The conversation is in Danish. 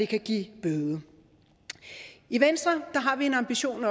kan give bøde i venstre har vi en ambition